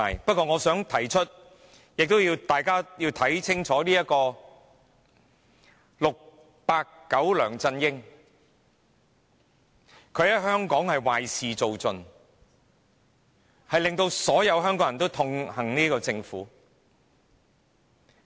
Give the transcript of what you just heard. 不過，我想提出，大家要看清楚 "689" 梁振英，他在香港壞事做盡，令所有香港人痛恨這個政府。